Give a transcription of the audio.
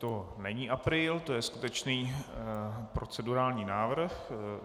To není apríl, to je skutečný procedurální návrh.